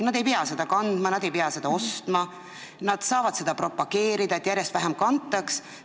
Nad ei pea seda kandma, nad ei pea seda ostma, nad saavad propageerida seda, et karusnahka järjest vähem kantaks.